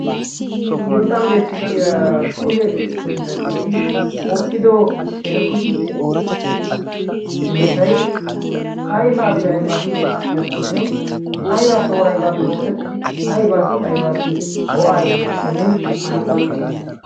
sinttan beettiya kushe hiillanchchati oottido eta kushinna murotayi ayfaappe aybaappe oosettiyaakkonne aybaappe aybaappe oosettidi aybaassi aybaassi go'aa immiyaakkonne aana qonccishshiyda